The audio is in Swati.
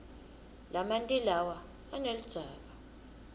lamanti lawa aneludzaka